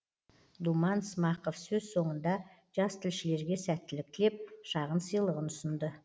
думан смақов сөз соңында жастілшілерге сәттілік тілеп шағын сыйлығын ұсынды